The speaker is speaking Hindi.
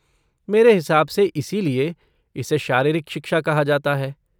मेरे हिसाब से इसीलिए इसे शारीरिक शिक्षा कहा जाता है।